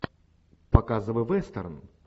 показывай вестерн